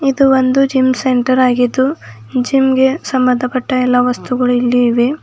ಇದು ಒಂದು gym centre ಆಗಿದ್ದು ಈ ಜಿಮ್ ಗೆ ಸಂಬಂಧಪಟ್ಟ ಎಲ್ಲ ವಸ್ತುಗಳು ಇಲ್ಲಿ ಇವೆ.